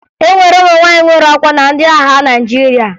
E nwere ụmụ nwaanyị nwere ọkwa na ndị agha Naịjirịa